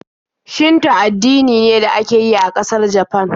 Shinto addini ne da ake yi a ƙasar Japan.